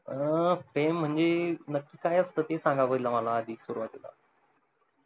अं प्रेम म्हणजे नकी काय असत ते सांगा मला आधी सुरवातीला